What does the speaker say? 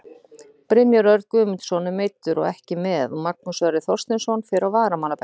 Brynjar Örn Guðmundsson er meiddur og ekki með og Magnús Sverrir Þorsteinsson fer á varamannabekkinn.